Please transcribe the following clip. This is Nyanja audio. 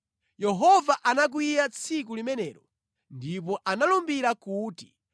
Yehova anakwiya tsiku limenelo ndipo analumbira kuti,